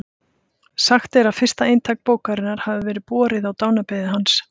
Sagt er að fyrsta eintak bókarinnar hafi verið borið á dánarbeð hans.